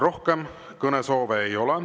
Rohkem kõnesoove ei ole.